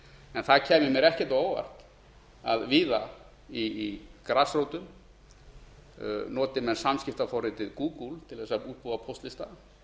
en það kæmi mér ekkert á óvart að víða í grasrótum noti menn samskiptaforritið gúgúl til að útbúa póstlista